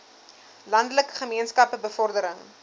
landelike gemeenskappe bevordering